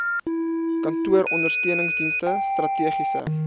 kantooronder steuningsdienste strategiese